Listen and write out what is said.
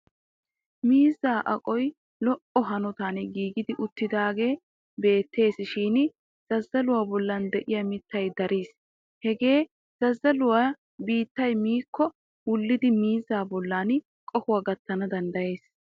Miizzaa aqoy lo''o hanotan giigi uttidaagee beettes shin zazzaluwa bolli diya miittay daris. Hagee zazzaluwa biittay miikko wullidi miizzaa bolli qohuwa gattana danddayees.